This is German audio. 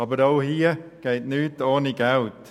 Aber auch diesbezüglich geht nichts ohne Geld.